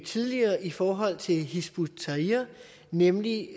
tidligere i forhold til hizb ut tahrir nemlig